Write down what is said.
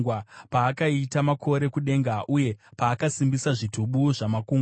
paakaita makore kudenga uye paakasimbisa zvitubu zvamakungwa,